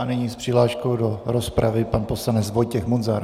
A nyní s přihláškou do rozpravy pan poslanec Vojtěch Munzar.